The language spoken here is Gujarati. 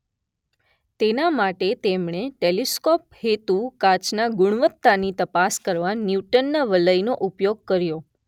તેના માટે તેમણે ટેલીસ્કોપ હેતુ કાચના ગુણવત્તાની તપાસ કરવા ન્યૂટનના વલયનો ઉપયોગ કર્યો